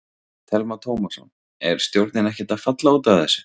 Telma Tómasson: Er stjórnin ekkert að falla út af þessu?